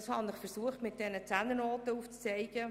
Ich habe versucht, das mit diesen Zehnernoten aufzuzeigen.